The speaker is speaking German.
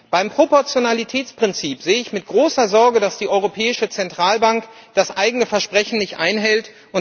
Beim Proportionalitätsprinzip sehe ich mit großer Sorge, dass die Europäische Zentralbank das eigene Versprechen nicht einhält.